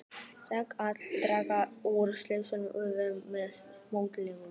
Hægt er að draga úr óæskilegum umhverfisáhrifum með mótvægisaðgerðum.